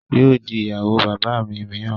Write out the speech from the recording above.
Yóò di ìyàwó bàbá mi mìíràn